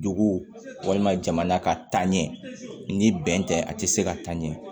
Dugu walima jamana ka taaɲɛ ni bɛn tɛ a tɛ se ka taa ɲɛ